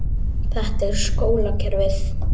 Þetta er skólakerfið.